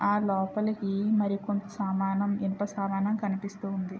ఆ లోపలకి మరి కొంత సామానం ఇనుప సామానం కనిపిస్తూ ఉంది.